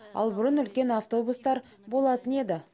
ал бұрын үлкен автобустар болатын еді